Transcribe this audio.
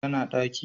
Ta na daki